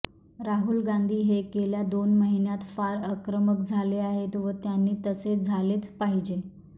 राहुल गांधी हे गेल्या दोन महिन्यात फार आक्रमक झाले आहेत व त्यांनी तसे झालेच पाहिजे